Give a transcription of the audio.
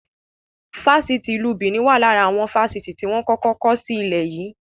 Fásitì ìlú Benin wá lára àwọn Fásitì tí wọn kọ́kọ́ kọ́ si ilẹ̀ yii